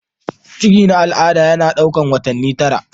ciki na al'ada yana ɗaukar watanni tara